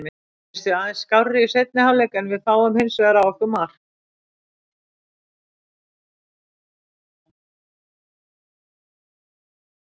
Mér fannst við aðeins skárri í seinni hálfleik en fáum hinsvegar á okkur mark.